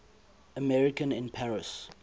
american in paris